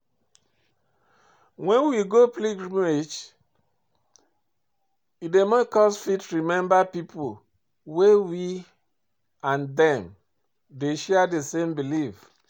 When we go pilgrimage e dey make us fit meet pipo wey we and dem dey share di same belief